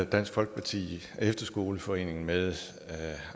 dansk folkeparti efterskoleforeningen med